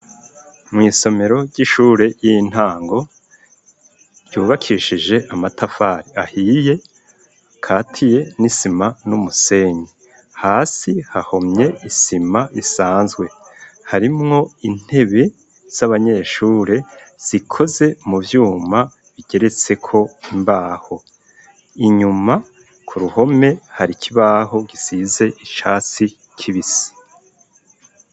Mw'isomero ry'ishure y'intango ryubakishije amatafari ahiye, katiye n'isima n'umusenyi hasi hahomye isima isanzwe. Harimwo intebe z'abanyeshure zikoze mu vyuma bigeretseko imbaho. Inyuma ku ruhome hari kibaho gisize icasi kibisi.